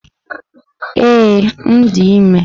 Ee, m dị ime.